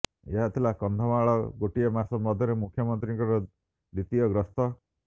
ଏହା ଥିଲା କନ୍ଧମାଳକୁ ଗୋଟିଏ ମାସ ମଧ୍ୟରେ ମୁଖ୍ୟମନ୍ତ୍ରୀଙ୍କ ଦ୍ୱିତୀୟ ଗସ୍ତ